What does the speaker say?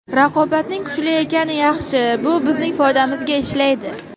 Raqobatning kuchli ekani yaxshi, bu bizning foydamizga ishlaydi.